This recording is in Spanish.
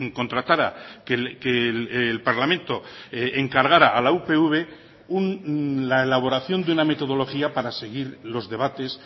contratara que el parlamento encargara a la upv la elaboración de una metodología para seguir los debates